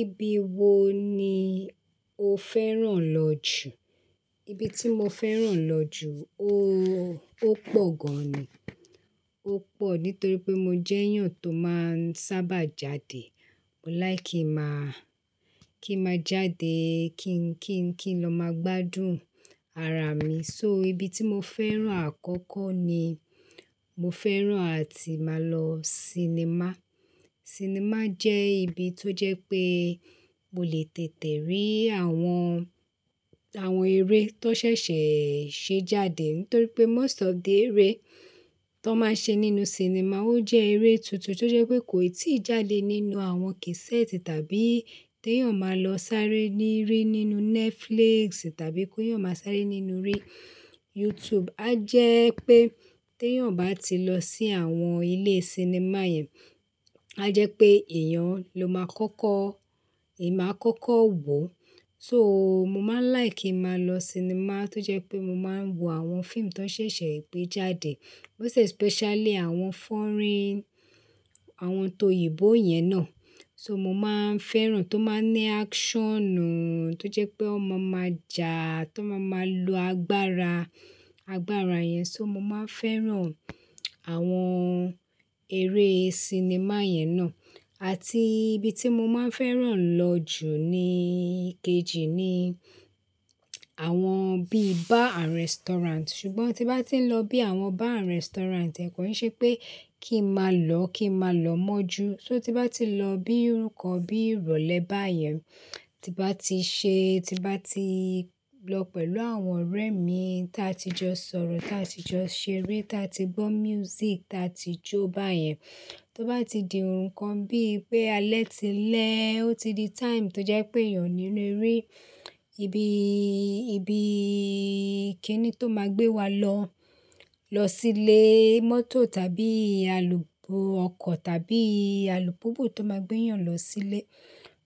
Ibi wo ni o fẹ́ràn lọ jù? Ibi tí mo fẹ́ràn lọ jù ó, ó pọ̀ gan ni, ó pọ̀ nítorí pé mo jẹ́ èèyàn tó máa ń sábà jáde. Mo like ki n máa, kí n máa jáde, kí n, kí n, kí n lọ máa gbádùn ara mi. So ibi tí mo fẹ́ràn àkọ́kọ́ ni mo fẹ́ràn àti máa lọ sinimá. Sinimá jẹ́ ibi tó jẹ́ pé mo lè tètè rí àwọn, àwọn eré tó ṣẹ̀ṣẹ̀ ṣe jáde. Nítorí pé most of the eré tó máa ń ṣe nínú sinimá ó jẹ́ eré tuntun tó jẹ́ pé kò ì tíì jáde nínú àwọn kẹ́sẹ́ẹ̀tì tàbí tí èèyàn máa lọ sáré ní rí nínú Netflix tàbí kó yóò máa sáré nínú YouTube. A jẹ́ pé tí èèyàn bá ti lọ sí àwọn ilé sinimá yẹn, a jẹ́ pé èèyàn ló máa kọ́kọ́, èèyàn máa kọ́kọ́ wò ó. So mo máa ń like kí màá lọ sinimá tó jẹ́ pé mo máa ń wo àwọn fíìmù tó ṣẹ̀ṣẹ̀ gbé jáde. Most especially àwọn foreign, àwọn tó oyìnbó yẹn náà. So mo máa ń fẹ́ràn tó máa ń ní actionù tó jẹ́ pé ó máa ma jà tó máa máa lo agbára, agbára yẹn. So mo máa ń fẹ́ràn àwọn eré sinimá yẹn náà. Àti ibi tí mo máa ń fẹ́ràn lọ jù ni kejì ni àwọn bí bar and restaurant. Ṣùgbọ́n tí bá ti ń lọ bí àwọn bar and restaurant kò ì ṣe pé kí n máa lọ, kí n máa lọ mọ́ ju. So tí bá ti lọ bí ńǹkan bí ìrọ̀lẹ́ báyẹn, tí bá ti ṣe, tí bá ti lọ pẹ̀lú àwọn ọ̀rẹ́ mi tí a ti jọ sọ̀rọ̀, tí a ti jọ ṣeré, tí a ti gbọ́ music, tí a ti jó báyẹn. Tí ó bá ti di ńǹkan bí pé alẹ́ ti lẹ́, ó ti di time tó jẹ́ pé èèyàn níle rí ibi, ibi kí ni tó máa gbé wa lọ, lọ sílé mọ́tò tàbí alùpùpù ọkọ̀ tàbí alùpùpù tó máa gbé èèyàn lọ sílé.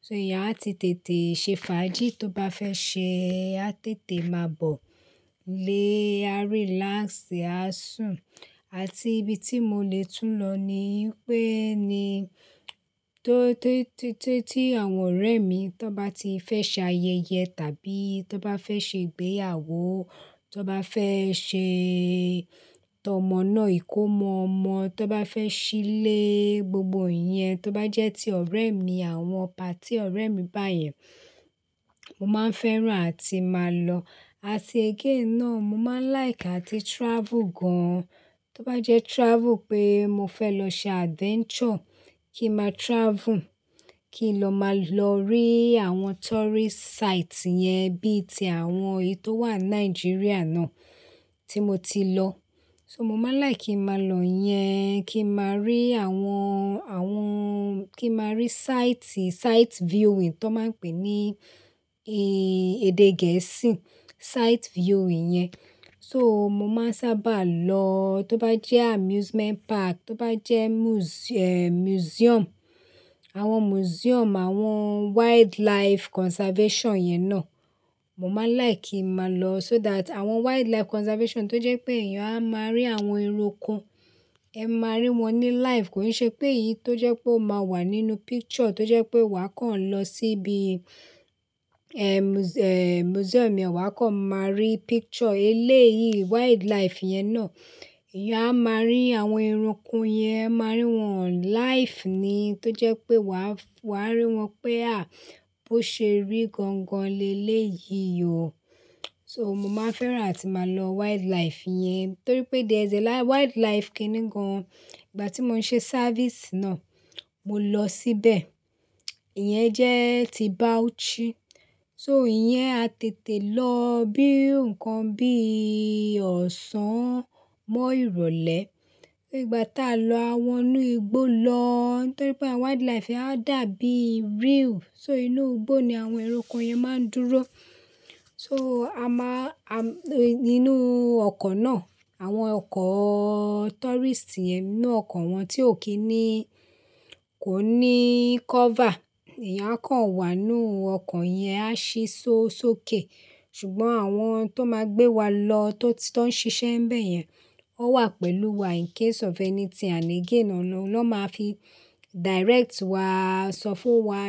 So eyán á ti tètè ṣe fàájì tó bá fẹ́ ṣe, á tètè máa bọ̀ ilé, á relax, á sùn. Àti ibi tí mo lè tún lọ ni pé ni tó, tó, tó tí àwọn ọ̀rẹ́ mi tó bá ti fẹ́ ṣe ayẹyẹ tàbí tó bá fẹ́ ṣe ìgbéyàwó, tó bá fẹ́ ṣe tọmọ náà ìkómọ ọmọ, tó bá fẹ́ ṣílé, gbogbo ǹyẹn tó bá jẹ́ ti ọ̀rẹ́ mi, àwọn party ọ̀rẹ́ mi báyẹn, mo máa ń fẹ́ràn àti máa lọ. Àti again náà mo máa ń like àti travel gan. Tó bá jẹ́ travel pé mo fẹ́ lọ ṣe adventure, kí n máa travel, kí n lọ máa lọ rí àwọn tourist site yẹn bí i ti àwọn èyí tó wà ní Nàìjíríà náà tí mo ti lọ. So mo máa ń like kí n máa lọ yẹn, kí n máa rí àwọn, àwọn, kí n máa rí site, site viewing tó máa ń pè ní èdè gẹ̀ẹ́sì, site viewing yẹn. So mo máa ń sábà lọ tó bá jẹ́ amusement park, tó bá jẹ́ muse- eh museum, àwọn museum, àwọn wildlife conservation yẹn náà, mo máa ń like kí n máa lọ so that àwọn wildlife conservation tó jẹ́ pé èèyàn a máa rí àwọn eranko, ẹ máa rí wọn ní live. Kò ì ṣe pé èyí tó jẹ́ pé o máa wà nínú picture tó jẹ́ pé wà á kàn lọ síbi museum yẹn wà á kàn máa rí picture eléyìí wildlife yẹn náà. Ìyá a máa rí àwọn ẹranko yẹn, ẹ máa rí wọn live ni tó jẹ́ pé wà á, wà á rí wọn pé à, bó ṣe rí gan gan lé léyìí o. So mo máa ń fẹ́ràn àti máa lọ wildlife yẹn. Nítorí pé there is a wildlife kìíní gan. Ìgbà tí mò ń ṣe service náà, mo lọ síbẹ̀. Ìyẹn jẹ́ ti Bauchi. So ìyẹn a tètè lọ bí ǹkan bí ì ọ̀sán mọ́ ìrọ̀lẹ́. So ìgbà tí a lọ, a wọ inú igbó lọ. Nítorí pé wildlife á dàbí real. So inú igbó ni àwọn ẹranko yẹn máa ń dúró. So a máa, a nínú ọkọ̀ náà, àwọn ọkọ̀ tourist yẹn, inú ọkọ̀ wọn tí ò kí í ní, kò ní cover. Eyán a kàn wà nínú ọkọ̀ yẹn, a ṣí sókè. Ṣùgbọ́n àwọn tó máa gbé wa lọ, tó, tó ń ṣiṣẹ́ ńbẹ̀ yẹn, ó wà pẹ̀lú wa in case of anything and again náà ló máa fi direct wá, sọ fún wa.